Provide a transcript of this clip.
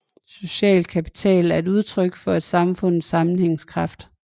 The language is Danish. Social kapital er et udtryk for et samfunds sammenhængskraft